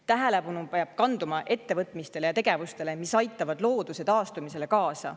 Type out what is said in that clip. Tähelepanu peab kanduma ettevõtmistele ja tegevustele, mis aitavad looduse taastumisele kaasa.